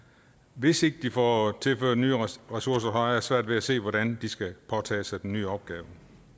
hvis ikke de får tilført nye ressourcer har jeg svært ved at se hvordan de skal påtage sig den nye opgave